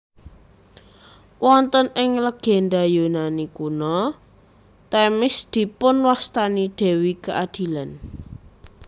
Wonten ing legénda Yunani Kuno Themis dipunwastani dewi keadilan